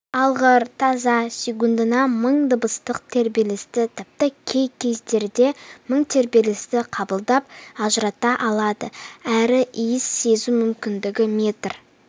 алғыр тазы секундына мың дыбыстық тербелісті тіпті кей кездерде мың тербелісті қабылдап ажырата алады әрі иіс сезу мүмкіндігі метр